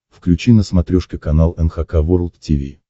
включи на смотрешке канал эн эйч кей волд ти ви